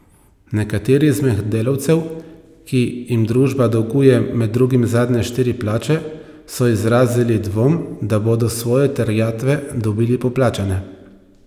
Nekateri izmed delavcev, ki jim družba dolguje med drugim zadnje štiri plače, so izrazili dvom, da bodo svoje terjatve dobili poplačane.